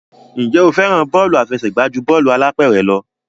Ǹjẹ́ o fẹ́ràn bọ́ọ̀lù àfẹsẹ̀gbá ju bọ́ọ̀lù alápẹ̀rẹ̀ lọ?